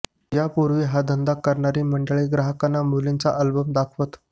यापूर्वी हा धंदा करणारी मंडळी ग्राहकांना मुलींचा अल्बम दाखवत